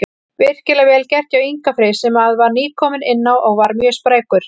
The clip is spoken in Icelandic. Virkilega vel gert hjá Inga Frey sem að var nýkominn inná og var mjög sprækur.